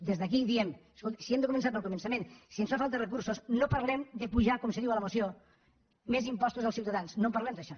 des d’aquí diem escolti si hem de començar pel començament si ens fa falta recursos no parlem d’apujar com se diu a la moció més impostos als ciutadans no en parlem d’això